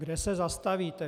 Kde se zastavíte?